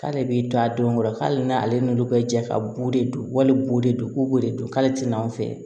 K'ale b'i don a don kɔrɔ hali n'ale n'olu bɛ ja ka bo de don wali bo de don k'o bo de don k'ale tɛna anw fɛ